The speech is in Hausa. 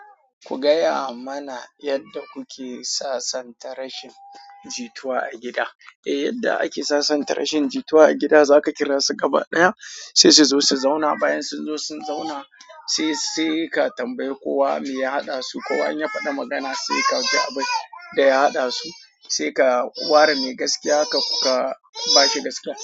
Ku gaya mana yadda kuke sasanta rashin jituwa a gida. Eh, yadda ake sasanta rashin jituwa a gida, zaka kira su gaba ɗaya sai su zo su zauna. Bayan sun zo sun zauna sai sai ka tambayi kowa me ya haɗa su. Kowa in ya faɗi magana sai ka ji abin da ya haɗa su, sai ka ware me gaskiya kabashi gaskiya.